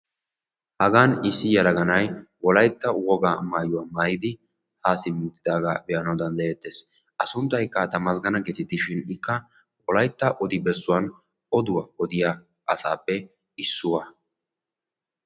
hagan issi yelaga na"ay wolaytta wogaa mayuwa maayidi haa simmi utidaaga be"anawu dandayeettes. A sunttaykka tamasgana getetishin ikka wolaytta odo bessuwan oduwa odiya asaappe issuwa.